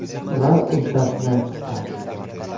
Va uddasidan chiqqan.